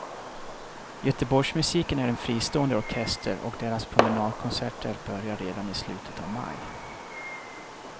Göteborgsmusiken är en egen fristående orkester och deras promenadkonserter börjar redan i slutet av maj.